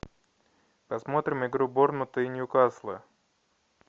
посмотрим игру борнмута и нью касла